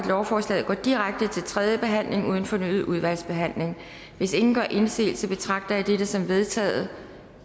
lovforslaget går direkte til tredje behandling uden fornyet udvalgsbehandling hvis ingen gør indsigelse betragter jeg dette som vedtaget